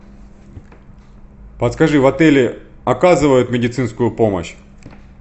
подскажи в отеле оказывают медицинскую помощь